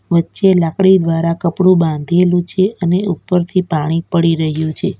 વચ્ચે લાકડી દ્વારા કપડું બાંધેલું છે અને ઉપરથી પાણી પડી રહ્યું છે.